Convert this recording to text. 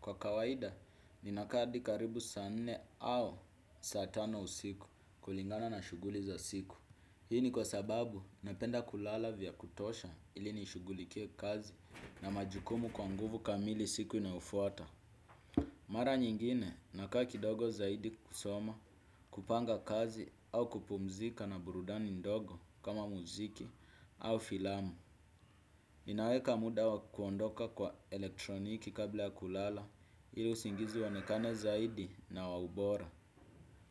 Kwa kawaida, ninakaa adi karibu saa nne au saa tano usiku kulingana na shuguli za siku. Hii ni kwa sababu, napenda kulala vya kutosha ili nishugulikie kazi na majukumu kwa nguvu kamili siku inayofuata. Mara nyingine, nakaa kidogo zaidi kusoma kupanga kazi au kupumzika na burudani ndogo kama muziki au filamu. Naweka muda wa kuondoka kwa elektroniki kabla ya kulala, ili usingizi uonekane zaidi na wa ubora.